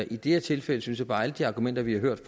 i det her tilfælde synes jeg bare at alle de argumenter vi har hørt